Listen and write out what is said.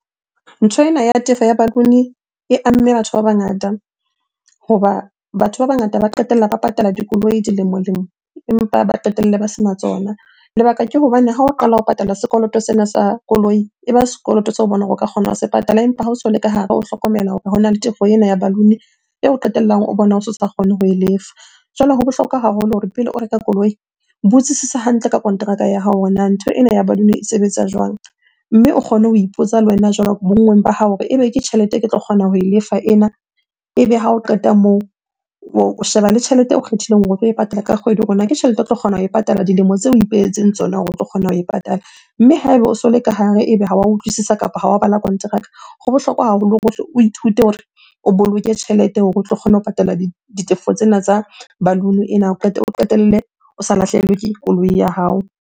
Ntho ena ya tefo ya balloon-e e amme batho ba bangata hoba batho ba bangata ba qetella ba patala dikoloi dilemo-lemo empa ba qetelle ba sena tsona. Lebaka ke hobane ha o qala ho patala sekoloto sena sa koloi, eba sekoloto seo o bonang hore o ka kgona ho se patala. Empa ha o so le ka hare o hlokomela hore hona le tefo ena ya balloon-e eo qetellang o bona o so sa kgone ho e lefa. Jwale ho bohlokwa haholo hore pele o reka koloi, botsisisa hantle ka konteraka ya hao hore na ntho ena ya balloon-e e sebetsa jwang? Mme o kgone ho ipotsa le wena jwalo, bonngweng ba hao hore ebe ke tjhelete e ke tlo kgona ho e lefa ena. Ebe ha o qeta moo, o sheba le tjhelete eo kgethileng hore o tlo e patala ka kgwedi hore na ke tjhelete o tlo kgona ho e patala dilemo tseo o ipehetseng tsona hore o tlo kgona ho e patala. Mme ha eba o so le ka hare, ebe ha wa utlwisisa kapo ho wa bala kontraka. Ho bohlokwa haholo hore o hle o ithute hore o boloke tjhelete hore o tlo kgone ho patala ditefo tsena tsa balloon-e ena o qetelle o sa lahlehelwe ke koloi ya hao.